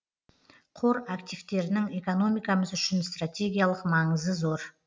қор активтерінің экономикамыз үшін стратегиялық маңызы зор